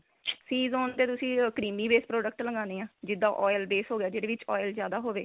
tee zone ਤੇ ਤੁਸੀਂ creamy base product ਲਗਾਣੇ ਆ ਜਿੱਦਾਂ oil base ਹੋ ਗਿਆ ਜਿਹਦੇ ਵਿੱਚ oil ਜਿਆਦਾ ਹੋਵੇ